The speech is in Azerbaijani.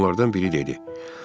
Onlardan biri dedi: